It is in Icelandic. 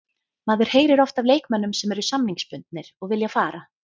Maður heyrir oft af leikmönnum sem eru samningsbundnir og vilja fara.